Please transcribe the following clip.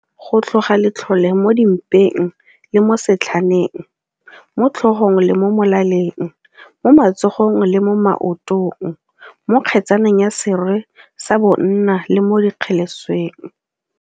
Go tlhoga letlhole mo di mpeng le mo setlhaneng, mo tlhogong le mo molaleng, mo matsogong le mo maotong, mo kgetsaneng ya serwe sa bonna le mo dikgelesweng.